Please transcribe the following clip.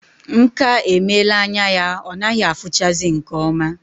Nka emela anya ya ọ naghị afuchazi nke oma